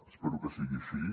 espero que sigui així